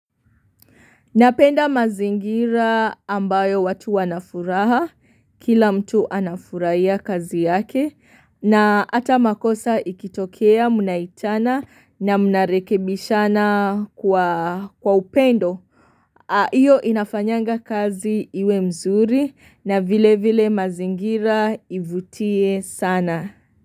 Napenda mazingira ambayo watu wanafuraha kila mtu anafurahia kazi yake na hata makosa ikitokea munaitana na mnarekebishana kwa upendo. Hiyo inafanyanga kazi iwe mzuri na vile vile mazingira ivutie sana.